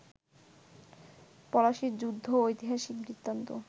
পলাশির যুদ্ধ ঐতিহাসিক বৃত্তান্ত